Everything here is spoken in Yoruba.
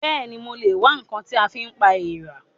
Bẹ́ẹ̀ni, mo lè wá ǹkan tí a fi pa èèrà